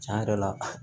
Tiɲɛ yɛrɛ la